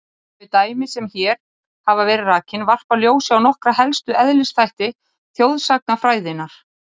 Þau dæmi sem hér hafa verið rakin varpa ljósi á nokkra helstu eðlisþætti þjóðsagnafræðinnar.